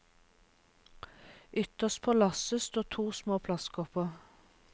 Ytterst på lasset står to små plastkopper.